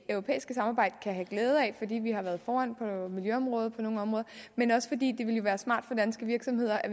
europæiske samarbejde kan have glæde af fordi vi har været foran på miljøområdet på nogle områder men også fordi det ville være smart for danske virksomheder at